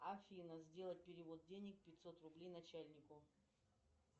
афина сделать перевод денег пятьсот рублей начальнику